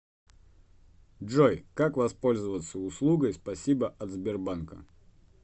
джой как воспользоваться услугой спасибо от сбербанка